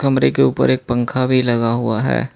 कमरे के ऊपर एक पंखा भी लगा हुआ है।